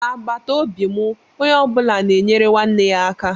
Na agbataobi mụ ónyé ọbula na enyere nwanne ya aka.